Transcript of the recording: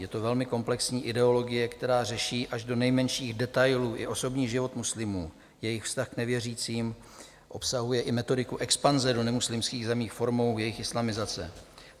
Je to velmi komplexní ideologie, která řeší až do nejmenších detailů i osobní život muslimů, jejich vztah k nevěřícím, obsahuje i metodiku expanze do nemuslimských zemí formou jejich islamizace.